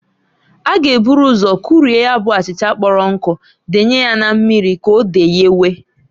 A ga eburu ụzọ kurie ya bụ achịcha kpọrọ nkụ denye ya na mmiri k'o deyewe.